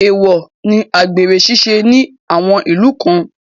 Èèwọ̀ ni àgbèrè ṣíṣe ní àwọn ìlú kan